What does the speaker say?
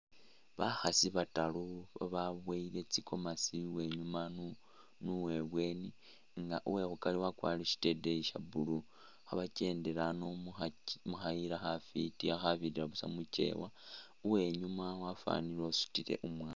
Bakhaasi bataaru bababowele tsi'gomesi uwenyima ni uwe bweni nga uwekhukari wakwarire shiteteyi sha blue khaba kyendela ano mukhayila khafiti khabirira busa mukyewa , uwenyuma wafanile usutile umwana.